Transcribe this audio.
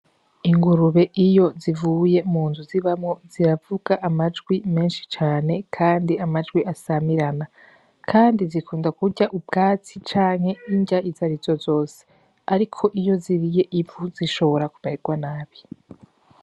Ingurube iyo zivuye mu nzu zibamwo ziravuga amajwi menshi cane kandi amajwi asamirana, kandi zikunda kurya ubwatsi canke inrya izarizo zose ariko iyo ziriye ivu zishobora kumeregwa nabi.